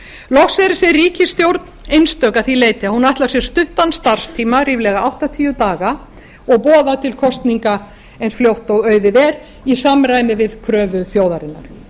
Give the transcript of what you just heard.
loks er þessi ríkisstjórn einstök að því leyti að hún ætlar sér stuttan starfstíma ríflega áttatíu daga og boðar til kosninga eins fljótt og auðið er í samræmi við kröfur þjóðarinnar